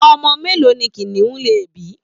Omo melo ni kiniun le bi?